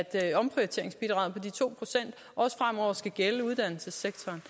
at omprioriteringsbidraget på de to procent også fremover skal gælde uddannelsessektoren